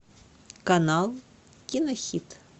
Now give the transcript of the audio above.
канал кинохит